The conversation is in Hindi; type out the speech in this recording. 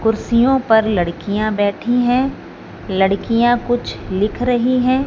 कुर्सियों पर लड़कियां बैठी हैं लड़कियां कुछ लिख रही हैं।